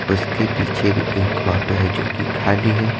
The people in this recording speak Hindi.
उसके पीछे भी एक ऑटो हैजो कि खाली है।